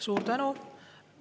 Suur tänu!